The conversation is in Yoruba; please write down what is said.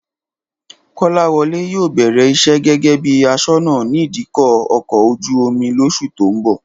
Kọ́láwọlé yóò bẹ̀rẹ̀ iṣẹ́ gẹ́gẹ́ bí aṣọ́nà ní ìdíkọ̀ ọkọ̀ ojú-omi lóṣù tó ń bọ̀